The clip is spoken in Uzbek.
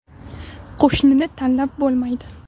Qo‘shnini tanlab bo‘lmaydi.